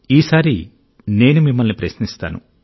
ఈసారి నేను మిమ్మల్ని ప్రశ్నిస్తాను